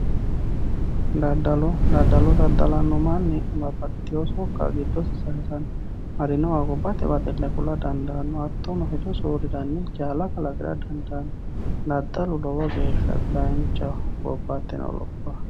Dadalo dadalo dadalano manii babaxitino sokka gidose sayisano harinoha hobate baxile kula dandaano hatono hedo soorirani jaala kalaqira dandaano dadalu lowo geesha danchaho gobateno lopho.